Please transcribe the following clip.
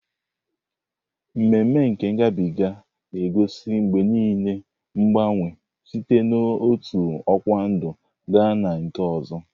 Ememe nke ngabiga ga na-egosi mgbe niile mgbanwe site n'otu ọkwa ndụ gaa na nke ọzọ.